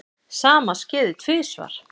Sama skeði tvisvar.